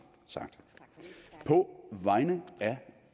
sagt på vegne af